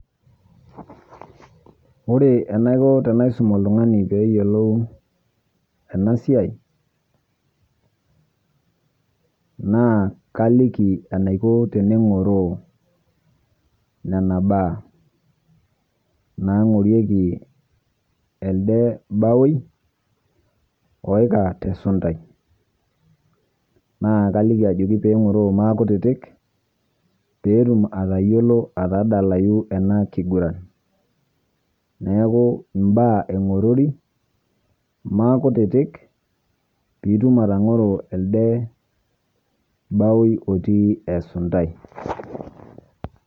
Ore enaikoo tanaisum oltung'ana peeiye eiyeloou ena siai, naa kalikii enaikoo pee tene ng'oroo ena baa nang'orieki eldee baoi oikaa te sundai. Naa kailikii ajooki pee ing'oroo maa kutitik pee etuum atayieloo atadalayu ena king'uran. Neeku mbaa aing'orori maa kutitik pii ituum atang'oro eldee baoi otii esundai.